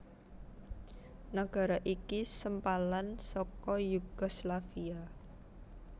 Nagara iki sempalan saka Yugoslavia